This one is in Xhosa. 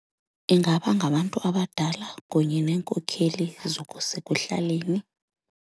Ingaba ngabantu abadala kunye neenkokheli ezakusekuhlaleni.